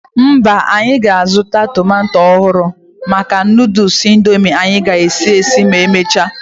Mba, anyị ga-azụta tomato ọhụrụ maka Nụdụls Indomie anyị ga-esi esi ma emechaa.